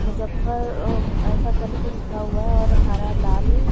मुज़्ज़फर अअ ऐसा करके लिखा हुआ है और हरा लाल --